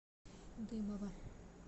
дымова